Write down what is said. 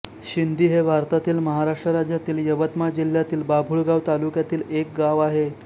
शिंदी हे भारतातील महाराष्ट्र राज्यातील यवतमाळ जिल्ह्यातील बाभुळगाव तालुक्यातील एक गाव आहे